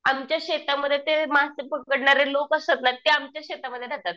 आमच्या शेतामध्ये ते मासे पकडणारे लोक असतात ना ते आमच्याच शेतामध्ये राहतात.